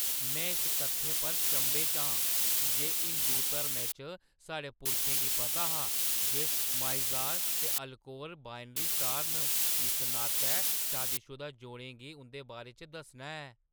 में इस तत्थै पर चंभे च आं जे हिंदू धर्मै च साढ़े पुरखें गी पता हा जे माइज़ार ते अल्कोर बाइनरी स्टार न, इस नातै शादीशुदा जोड़ें गी उं'दे बारे च दस्सना ऐ ।